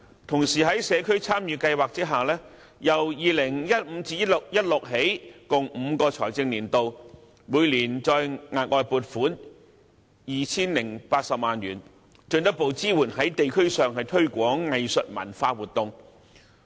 同時，在社區參與計劃下，由 2015-2016 年度起共5個財政年度，每年再額外撥款 2,080 萬元，進一步支援在地區上推廣藝術文化活動。